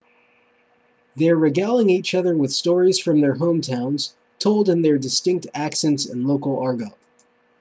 they're regaling each other with stories from their hometowns told in their distinct accents and local argot